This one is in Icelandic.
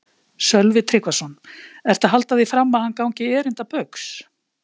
Sölvi Tryggvason: Ertu að halda því fram að hann gangi erinda Baugs?